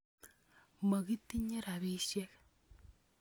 Mokitinye ropisyek